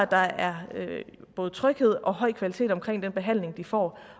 der er både tryghed og høj kvalitet omkring den behandling de får